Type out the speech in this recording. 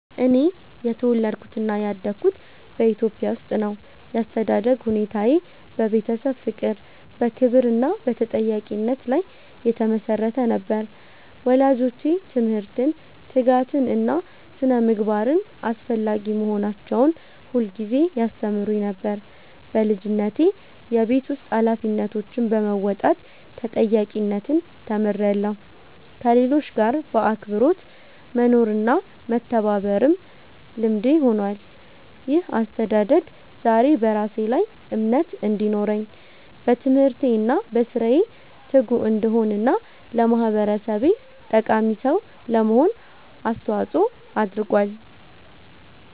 እኔ የተወለድኩትና ያደግኩት በኢትዮጵያ ውስጥ ነው። ያስተዳደግ ሁኔታዬ በቤተሰብ ፍቅር፣ በክብር እና በተጠያቂነት ላይ የተመሰረተ ነበር። ወላጆቼ ትምህርትን፣ ትጋትን እና ስነ-ምግባርን አስፈላጊ መሆናቸውን ሁልጊዜ ያስተምሩኝ ነበር። በልጅነቴ የቤት ውስጥ ኃላፊነቶችን በመወጣት ተጠያቂነትን ተምሬያለሁ፣ ከሌሎች ጋር በአክብሮት መኖርና መተባበርም ልምዴ ሆኗል። ይህ አስተዳደግ ዛሬ በራሴ ላይ እምነት እንዲኖረኝ፣ በትምህርቴ እና በሥራዬ ትጉ እንድሆን እና ለማህበረሰቤ ጠቃሚ ሰው ለመሆን አስተዋጽኦ አድርጓል።